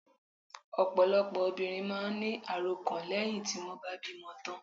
Ọ̀pọ̀lọpọ̀ obìnrin máà ń ní àròkàn lẹ́hìn tí wọ́n bá bímọ tán.